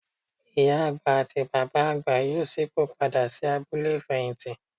Ìyá àgbà àti Bàbá àgbà yóò ṣípò padà sí abúlé ìfẹ̀yìntì.